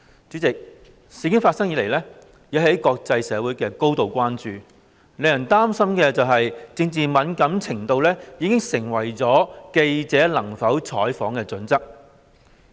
主席，事件發生以來，引起國際社會高度關注，令人擔心政治敏感程度已經成為記者能否採訪的準則。